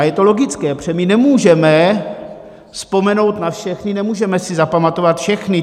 A je to logické, protože my nemůžeme vzpomenout na všechny, nemůžeme si zapamatovat všechny.